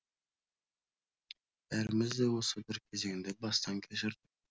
бәріміз де осы бір кезеңді бастан кешірдік